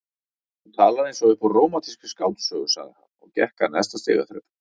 Þú talar eins og upp úr rómantískri skáldsögu sagði hann og gekk að neðsta stigaþrepinu.